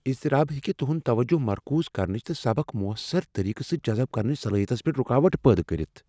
اضطراب ہیکہٕ تُہند توجہ مرکوز کرنچ تہٕ سبق مؤثر طریقہٕ سۭتۍ جذب کرنچ صلاحیتس منٛز رکاوٹ پٲدٕ کٔرتھ۔